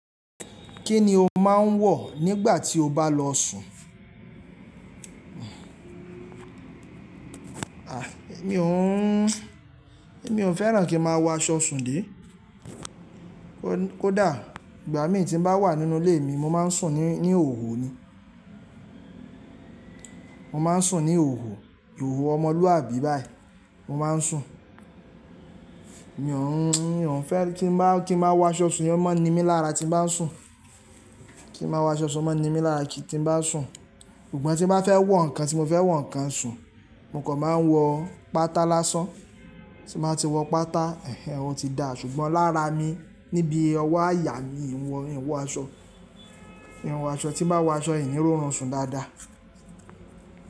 Kí ni o máa ń wọ̀ nígbà tí o bá lọ sùn? Èmi ò ń, èmi ò fẹ́ràn kí ń máa wọ aṣọ sùn dé. Kódà ìgbà mí tí ń bá wà nínú ilé mi, mo máa ń sùn ní, ní ihohò ni. Mo máa ń sùn ní ihohò, ihohò ọmọlúwàbí báyìí. Mo máa ń sùn. Mi ò ń, mi ò ń fẹ́ kí n máa, kí n máa wọ aṣọ sùn yen, ó máa ń ni mí lára tí ń bá sùn. Kí n máa wọ aṣọ sùn, ó máa ń ni mí lára tí ń bá sùn. Ṣùgbọ́n tí bá fẹ́ wọ nǹkan tí mo fẹ́ wọ nǹkan sùn, mo kò máa ń wọ pátá lásán. Tí bá ti wọ pátá, ẹ̀hen, ó ti dá ṣùgbọ́n lára mi níbí owó àyà mi ìwọ, n wọ aṣọ. N wọ aṣọ tí má wọ aṣọ n, ni ró run sùn dáadáa.